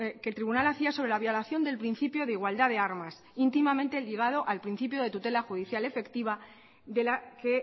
que el tribunal hacía sobre la violación del principio de igualdad de armas íntimamente ligado al principio de tutela judicial efectiva de la que